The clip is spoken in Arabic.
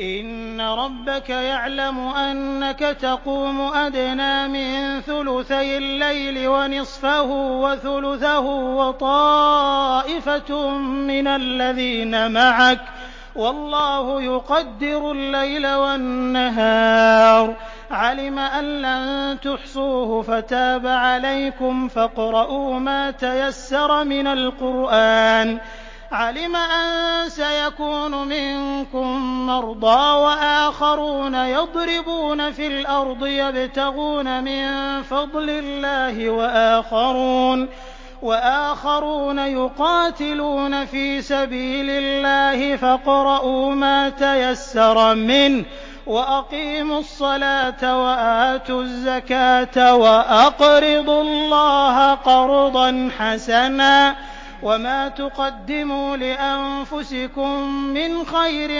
۞ إِنَّ رَبَّكَ يَعْلَمُ أَنَّكَ تَقُومُ أَدْنَىٰ مِن ثُلُثَيِ اللَّيْلِ وَنِصْفَهُ وَثُلُثَهُ وَطَائِفَةٌ مِّنَ الَّذِينَ مَعَكَ ۚ وَاللَّهُ يُقَدِّرُ اللَّيْلَ وَالنَّهَارَ ۚ عَلِمَ أَن لَّن تُحْصُوهُ فَتَابَ عَلَيْكُمْ ۖ فَاقْرَءُوا مَا تَيَسَّرَ مِنَ الْقُرْآنِ ۚ عَلِمَ أَن سَيَكُونُ مِنكُم مَّرْضَىٰ ۙ وَآخَرُونَ يَضْرِبُونَ فِي الْأَرْضِ يَبْتَغُونَ مِن فَضْلِ اللَّهِ ۙ وَآخَرُونَ يُقَاتِلُونَ فِي سَبِيلِ اللَّهِ ۖ فَاقْرَءُوا مَا تَيَسَّرَ مِنْهُ ۚ وَأَقِيمُوا الصَّلَاةَ وَآتُوا الزَّكَاةَ وَأَقْرِضُوا اللَّهَ قَرْضًا حَسَنًا ۚ وَمَا تُقَدِّمُوا لِأَنفُسِكُم مِّنْ خَيْرٍ